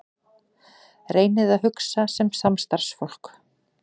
Reynið að hugsa sem samstarfsfólk.